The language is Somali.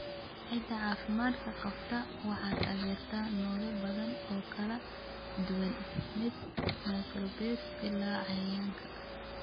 Ciidda caafimaadka qabta waxay taageertaa noole badan oo kala duwan, min microbes ilaa cayayaanka.